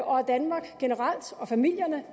og at danmark og familierne